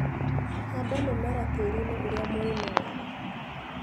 Handa mĩmera tĩriinĩ ũria mũrĩme wega.